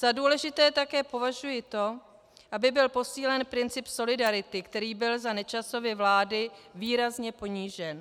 Za důležité také považuji to, aby byl posílen princip solidarity, který byl za Nečasovy vlády výrazně ponížen.